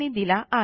यांनी दिलेला आहे